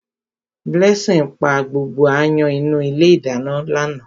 Blessing pa gbogbo áyán inú ilé ìdáná lánàá.